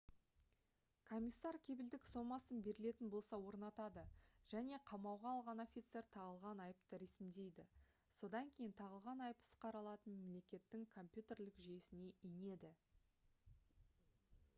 комиссар кепілдік сомасын берілетін болса орнатады және қамауға алған офицер тағылған айыпты ресімдейді. содан кейін тағылған айып іс қаралатын мемлекеттің компьютерлік жүйесіне енеді